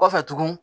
Kɔfɛ tugun